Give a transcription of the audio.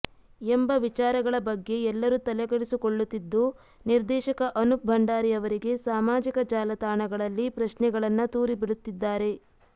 ಎಂಬ ವಿಚಾರಗಳ ಬಗ್ಗೆ ಎಲ್ಲರೂ ತಲೆಕೆಡಿಸಿಕೊಳ್ಳುತ್ತಿದ್ದು ನಿರ್ದೇಶಕ ಅನೂಪ್ ಭಂಡಾರಿ ಅವರಿಗೆ ಸಾಮಾಜಿಕ ಜಾಲತಾಣಗಳಲ್ಲಿ ಪ್ರಶ್ನೆಗಳನ್ನ ತೂರಿಬಿಡುತ್ತಿದ್ದಾರೆ